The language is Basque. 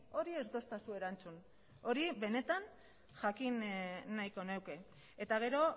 hori ez didazu erantzun hori benetan jakin nahiko nuke eta gero